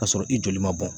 K'a sɔrɔ i joli ma bɔn